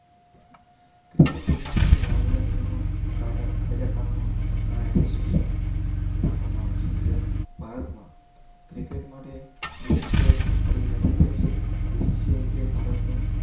Cricket રમવા માટે ઘણા બધા નિયમો કાયદા કાનૂનો ઘણા એસોસિએશન રાખવામાં આવે છે જેમ ભારતમાં ક્રિકેટ માટે BCCI દ્વારા ઓર્ગેનાઈઝ થાય છે.